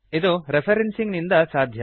ಇದು ರೆಫ್ರೆನ್ಸಿಂಗ್ ನಿಂದ ಸಾಧ್ಯ